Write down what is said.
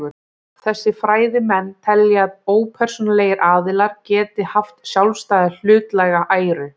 Þessir fræðimenn telja að ópersónulegir aðilar geti haft sjálfstæða hlutlæga æru.